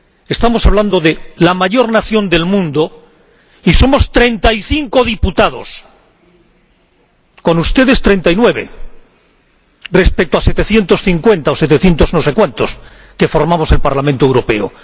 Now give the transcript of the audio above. Estamos hablando de la mayor nación del mundo y somos treinta y cinco diputados —con ustedes treinta y nueve—, respecto a setecientos cincuenta o setecientos no sé cuántos que formamos el Parlamento Europeo.